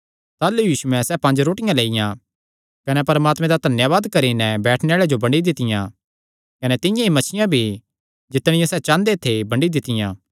ताह़लू यीशुयैं सैह़ पंज रोटियां लेईआं कने परमात्मे दा धन्यावाद करी नैं बैठणे आल़ेआं जो बंडी दित्तियां कने तिंआं ई मच्छियां भी जितणियां सैह़ चांह़दे थे बंडी दित्तियां